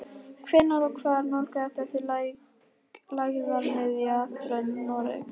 Hvenær og hvar nálgast þessi lægðarmiðja strönd Noregs?